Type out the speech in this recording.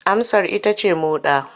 Amsar ita ce moɗa.